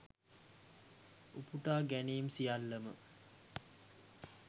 උපුටාගැනීම් සියල්ලම